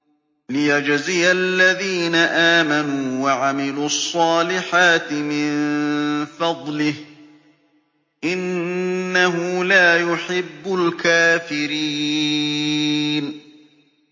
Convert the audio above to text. لِيَجْزِيَ الَّذِينَ آمَنُوا وَعَمِلُوا الصَّالِحَاتِ مِن فَضْلِهِ ۚ إِنَّهُ لَا يُحِبُّ الْكَافِرِينَ